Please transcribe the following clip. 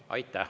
Aitäh, Urmas!